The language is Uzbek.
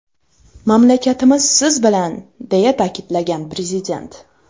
Mamlakatimiz siz bilan”, deya ta’kidlagan prezident.